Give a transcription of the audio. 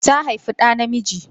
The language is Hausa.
Ta haifi ɗa namiji.